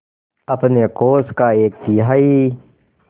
अपने कोष का एक तिहाई